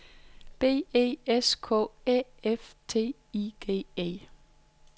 B E S K Æ F T I G E